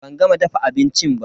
Ban gama dafa abincin ba.